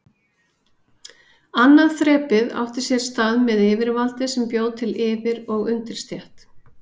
Annað þrepið átti sér stað með yfirvaldi sem bjó til yfir- og undirstétt.